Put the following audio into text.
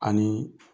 Ani